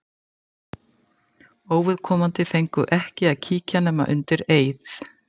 Óviðkomandi fengu ekki að kíkja nema undir eið.